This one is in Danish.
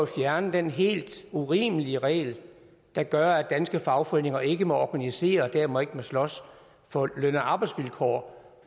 fjerne den helt urimelige regel der gør at danske fagforeninger ikke må organisere og dermed ikke må slås for løn og arbejdsvilkår